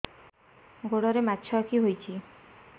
ଗୋଡ଼ରେ ମାଛଆଖି ହୋଇଛି